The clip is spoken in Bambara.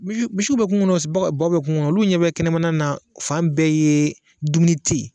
Misi misiw be kungo kɔnɔ baw be kungo kɔnɔ olu ɲɛ bɛ kɛnɛmana na fan bɛɛ yee dumuni te yen